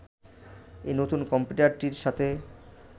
এই নতুন কম্পিউটারটির সাথে